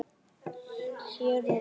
Hér og nú.